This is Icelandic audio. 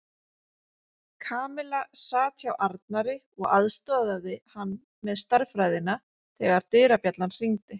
Kamilla sat hjá Arnari og aðstoðaði hann með stærðfræðina þegar dyrabjallan hringdi.